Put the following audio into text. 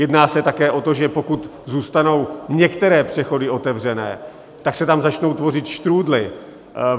Jedná se také o to, že pokud zůstanou některé přechody otevřené, tak se tam začnou tvořit štrúdly.